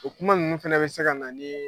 O kuma ninnu fana bɛ se ka na ni ye